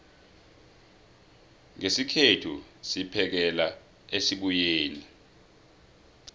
ngesikhethu siphekela esibuyeni